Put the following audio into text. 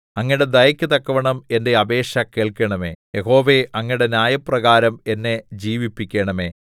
അങ്ങയുടെ ദയയ്ക്കു തക്കവണ്ണം എന്റെ അപേക്ഷ കേൾക്കണമേ യഹോവേ അങ്ങയുടെ ന്യായപ്രകാരം എന്നെ ജീവിപ്പിക്കണമേ